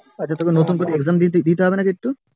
আচ্ছা নতুন করে exam দিতে হবে না কিছু